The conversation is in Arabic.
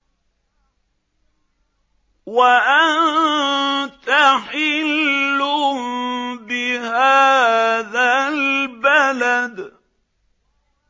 وَأَنتَ حِلٌّ بِهَٰذَا الْبَلَدِ